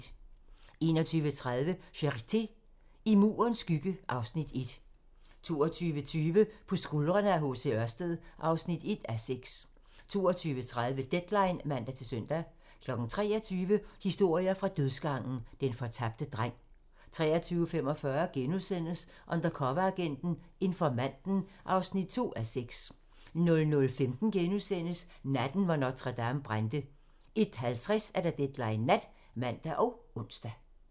21:30: Charité - I Murens skygge (Afs. 1) 22:20: På skuldrene af H.C. Ørsted (1:6) 22:30: Deadline (man-søn) 23:00: Historier fra dødsgangen - Den fortabte dreng 23:45: Undercoveragenten - Informanten (2:6)* 00:15: Natten, hvor Notre-Dame brændte * 01:50: Deadline Nat (man og ons)